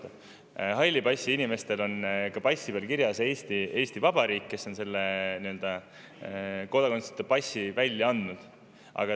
Aga halli passiga inimestel on ka passi peal kirjas "Eesti Vabariik", kes on kodakondsuseta selle passi välja andnud.